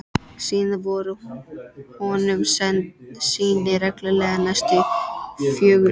Síðan voru honum send sýni reglulega næstu fjögur ár.